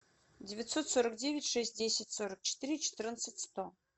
девятьсот сорок девять шесть десять сорок четыре четырнадцать сто